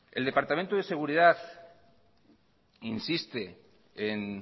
el departamento de seguridad insiste en